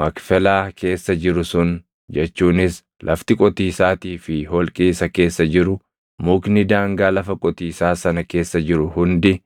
Makfelaa keessa jiru sun jechuunis lafti qotiisaatii fi holqi isa keessa jiru, mukni daangaa lafa qotiisaa sana keessa jiru hundi,